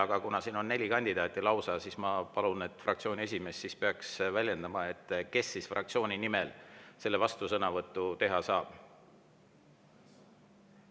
Aga kuna siin on lausa neli kandidaati, siis ma palun, et fraktsiooni esimees väljendaks, kes siis fraktsiooni nimel selle vastusõnavõtu teha saab.